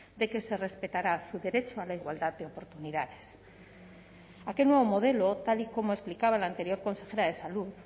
de que se respetará su derecho a la igualdad de oportunidades aquel nuevo modelo tal y como explicaba la anterior consejera de salud